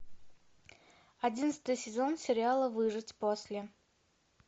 одиннадцатый сезон сериала выжить после